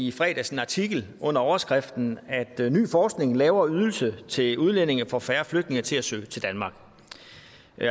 i fredags en artikel under overskriften ny forskning lave ydelser til udlændinge får færre flygtninge til at søge til danmark